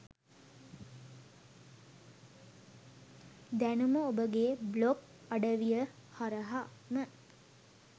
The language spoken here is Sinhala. දැනුම ඔබගේ බ්ලොග් අඩවිය හරහාම